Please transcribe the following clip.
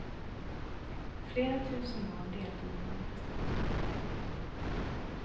Flera tusen barn deltog i manifestationen. punkt